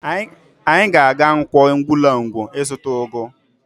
Anyị ga-aga Nkwọ Ugwulangwu ịzụta ụgụ